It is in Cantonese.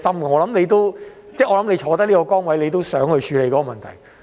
我想他身處這個崗位，也想處理這個問題。